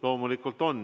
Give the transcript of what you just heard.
Loomulikult on.